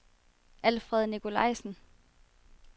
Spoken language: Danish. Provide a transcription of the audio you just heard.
Alfred Nicolajsen